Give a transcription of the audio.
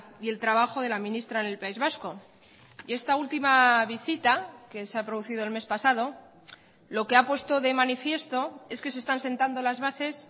y el trabajo de la ministra en el país vasco y esta última visita que se ha producido el mes pasado lo que ha puesto de manifiesto es que se están sentando las bases